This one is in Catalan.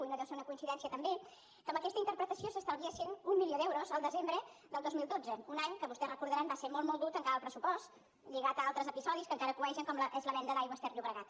i no deu ser una coincidència també que amb aquesta interpretació s’estalviessin un milió d’euros el desembre del dos mil dotze un any que vostès ho deuen recordar va ser molt dur tancar el pressupost lligat a altres episodis que encara cuegen com és la venda d’aigües ter llobregat